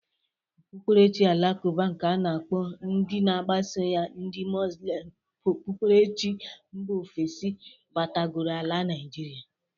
Okpukperechi alakụba nke a na-akpọ ndị na-agbaso ya ndị Moslem bụ okpukperechi nba ofesi batagoro ala Naijiria.